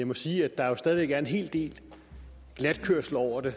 må sige at der jo stadig væk er en hel del glatkørsel over det